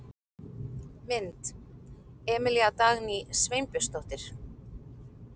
Mynd: Emilía Dagný Sveinbjörnsdóttir.